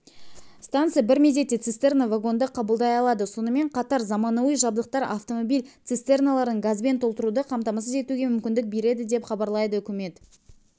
станса бір мезетте цистерна-вагонды қабылдай алады сонымен қатар заманауи жабдықтар автомобиль цистерналарын газбен толтыруды қамтамасыз етуге мүмкіндік береді деп хабарлайды үкімет